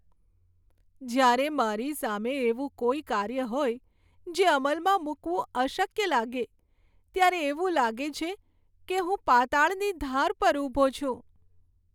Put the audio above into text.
જ્યારે મારી સામે એવું કોઈ કાર્ય હોય જે અમલમાં મૂકવું અશક્ય લાગે ત્યારે એવું લાગે છે કે હું પાતાળની ધાર પર ઊભો છું.